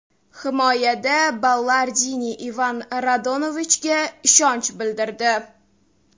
Himoyada Ballardini Ivan Radovanovichga ishonch bildirdi.